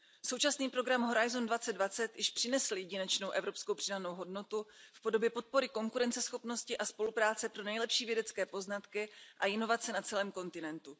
Současný program Horizont 2020 již přinesl jedinečnou evropskou přidanou hodnotu v podobě podpory konkurenceschopnosti a spolupráce pro nejlepší vědecké poznatky a inovace na celém kontinentu.